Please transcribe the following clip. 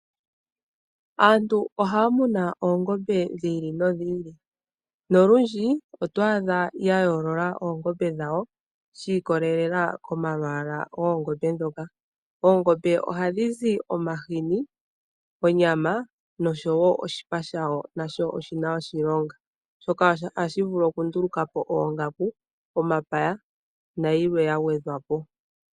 Aantu ohaya munu oongombe dhili nodhili . Nolundji otwaadha yayoolola oongombe dhawo shiikolelela komalwaala goongombe ndhoka. Oongombe ohadhi zi omahini, onyama noshowoo oshipa shayo nasho oshina oshilonga oshoka ,ohashi vulu okundulukapo oongaku, omapaya nayilwe yagwedhwapo.